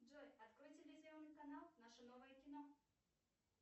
джой открой телевизионный канал наше новое кино